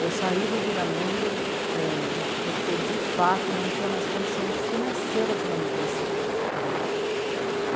Eu saí do Viramundo é... porque, de fato, não tinha mais condição financeira de manutenção do Viramundo.